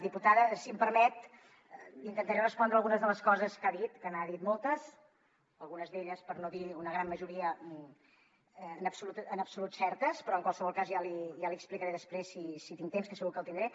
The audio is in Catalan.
diputada si m’ho permet intentaré respondre a algunes de les coses que ha dit que n’ha dit moltes algunes d’elles per no dir una gran majoria en absolut certes però en qualsevol cas ja l’hi explicaré després si tinc temps que segur que en tindré